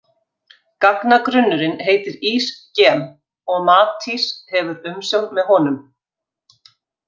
Gagnagrunnurinn heitir ÍSGEM og Matís hefur umsjón með honum.